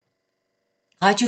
Radio 4